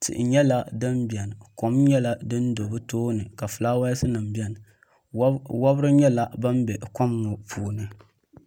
tihi nyɛla din bɛni kɔm nyɛla din do bi tooni ka filaawaas nim bɛni wɔbiri nyɛla ban bɛ kɔm ŋɔ puuni.